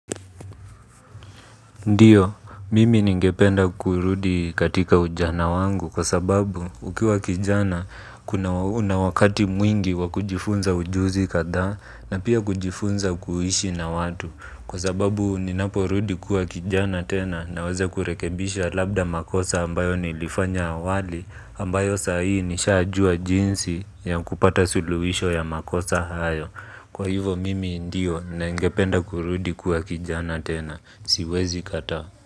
Ndiyo, mimi ningependa kurudi katika ujana wangu kwa sababu ukiwa kijana kuna unawakati mwingi wakujifunza ujuzi kadhaa na pia kujifunza kuishi na watu. Kwa sababu ninaporudi kuwa kijana tena naweze kurekebisha labda makosa ambayo nilifanya awali ambayo sahi nishajua jinsi ya kupata suluwisho ya makosa hayo. Kwa hivyo mimi ndio ningependa kurudi kuwa kijana tena. Siwezi kataa.